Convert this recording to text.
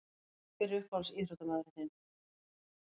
Hver er uppáhalds íþróttamaður þinn?